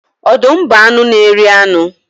Ọdụm bụ anụ n'eri anu.